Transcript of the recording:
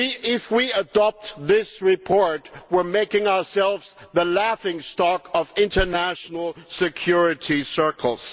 If we adopt this report, we will be making ourselves a laughing stock in international security circles.